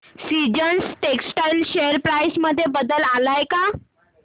seasons textile share price मध्ये बदल आलाय का